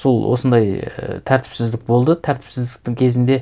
сол осындай і тәртіпсіздік болды тәртіпсіздіктің кезінде